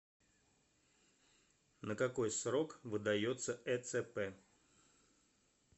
на какой срок выдается эцп